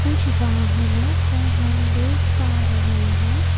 कुछ वाहनों को हम देख पा रहे हैं।